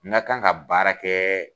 N ka kan ka baara kɛ